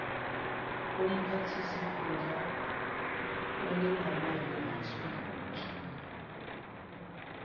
womphathisikhundla olengamele lithunjiwe